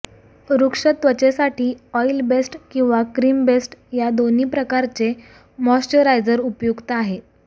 रूक्ष त्वचेसाठी oil based किंवा cream based या दोन्ही प्रकारचे मॉइश्चराइझर उपयुक्त आहेत